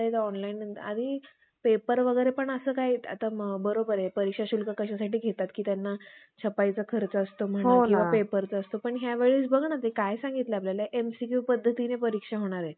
शेतीत खपून, आपल्या मुलाबाळांचे कोपण करून. सरकारची पट्टी पुरी करिता करिता त्यांस नाकास, नाके नऊ येतात.